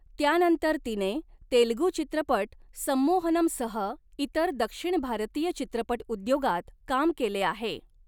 त्यानंतर तिने तेलगू चित्रपट संमोहनमसह इतर दक्षिण भारतीय चित्रपटउद्योगांत काम केले आहे.